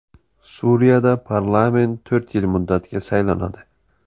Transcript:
Suriyada parlament to‘rt yil muddatga saylanadi.